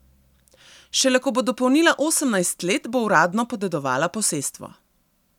Šele ko bo dopolnila osemnajst let, bo uradno podedovala posestvo.